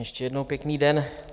Ještě jednou pěkný den.